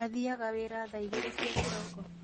Athiaga wĩra thaa igĩrĩ cia kĩroko?